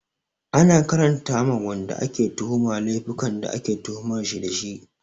Ana karanta ma wanda ake tuhuma laifukan da ake tuhumar shi dashi